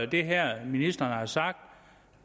det her ministeren har sagt